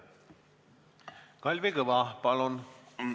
Kalvi Kõva, palun!